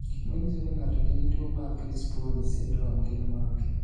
Gik manyiso ni ng'ato nigi tuwo mar Crisponi syndrome gin mage?